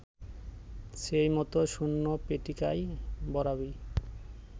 সেইমতো শূন্য পেটিকায় ভরাবি